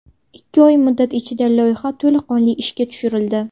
Ikki oy muddat ichida loyiha to‘laqonli ishga tushirildi.